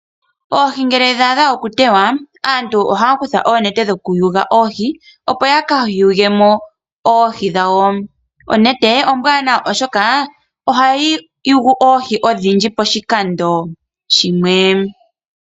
Oohi ngele dha adha okuteywa, aantu ohaya kutha oonete dhokuyula oohi, opo ya ka yule mo oohi dhawo. Onete ombwaanawa, oshoka ohayi yulu oohi odhindji poshikando shimwe.